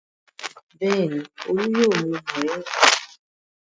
Bẹ́ẹ̀ni, Olú yóò mu mòríngà.